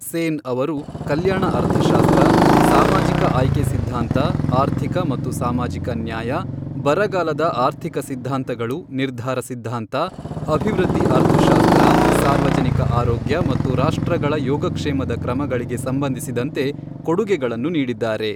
ಸೇನ್ ಅವರು ಕಲ್ಯಾಣ ಅರ್ಥಶಾಸ್ತ್ರ, ಸಾಮಾಜಿಕ ಆಯ್ಕೆ ಸಿದ್ಧಾಂತ, ಆರ್ಥಿಕ ಮತ್ತು ಸಾಮಾಜಿಕ ನ್ಯಾಯ, ಬರಗಾಲದ ಆರ್ಥಿಕ ಸಿದ್ಧಾಂತಗಳು, ನಿರ್ಧಾರ ಸಿದ್ಧಾಂತ, ಅಭಿವೃದ್ಧಿ ಅರ್ಥಶಾಸ್ತ್ರ, ಸಾರ್ವಜನಿಕ ಆರೋಗ್ಯ ಮತ್ತು ರಾಷ್ಟ್ರಗಳ ಯೋಗಕ್ಷೇಮದ ಕ್ರಮಗಳಿಗೆ ಸಂಬಂಧಿಸಿದಂತೆ ಕೊಡುಗೆಗಳನ್ನು ನೀಡಿದ್ದಾರೆ.